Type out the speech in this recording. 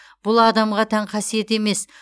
бұл адамға тән қасиет емес